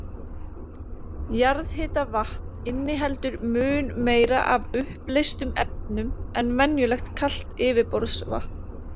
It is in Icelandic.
Jarðhitavatn inniheldur mun meira af uppleystum efnum en venjulegt kalt yfirborðsvatn.